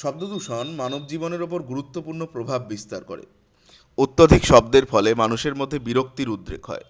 শব্দদূষণ মানবজীবনের উপর গুরুত্বপূর্ণ প্রভাব বিস্তার করে। অত্যধিক শব্দের ফলে মানুষের মধ্যে বিরক্তির উদ্রেগ হয়।